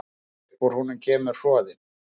Upp úr honum kemur hnoðinn.